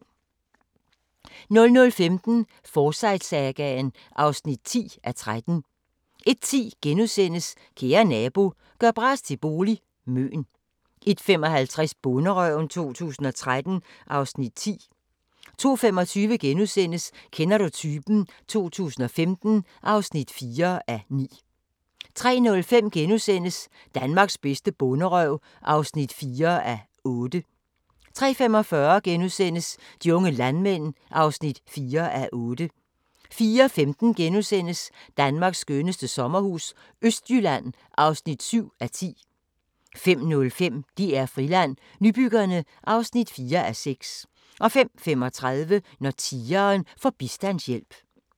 00:15: Forsyte-sagaen (10:13) 01:10: Kære nabo – gør bras til bolig – Møn * 01:55: Bonderøven 2013 (Afs. 10) 02:25: Kender du typen? 2015 (4:9)* 03:05: Danmarks bedste bonderøv (4:8)* 03:45: De unge landmænd (4:8)* 04:15: Danmarks skønneste sommerhus – Østjylland (7:10)* 05:05: DR Friland: Nybyggerne (4:6) 05:35: Når tigeren får bistandshjælp